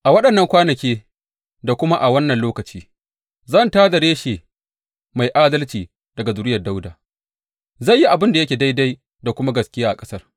A waɗannan kwanaki da kuma a wannan lokaci zan tā da Reshe mai adalci daga zuriyar Dawuda; zai yi abin da yake daidai da kuma gaskiya a ƙasar.